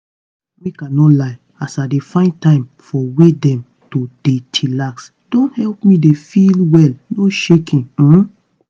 make i no lie as i dey find time for way dem to dey chillax don help me dey feel well no shaking. um